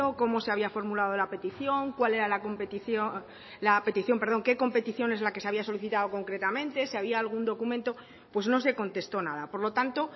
cómo se había formulado la petición qué competición se había solicitado concretamente si había algún documento pues no se contestó nada por lo tanto